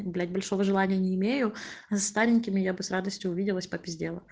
блять большого желания не имею со старенькими я бы с радостью увиделась попиздела